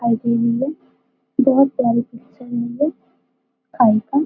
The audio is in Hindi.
बहुत प्यारी पिक्चर आई है।